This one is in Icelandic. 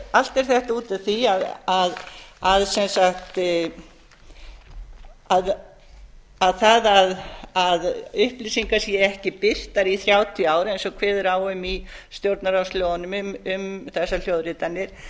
allt er þetta út af því að það að upplýsingar séu ekki birtar í þrjátíu ár eins og kveðið er á um í stjórnarráðslögunum um þessar hljóðritanir